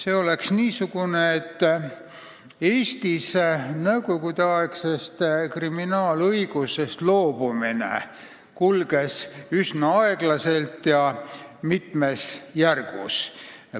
Eestis kulges nõukogudeaegsest kriminaalõigusest loobumine üsna aeglaselt ja mitmes järgus.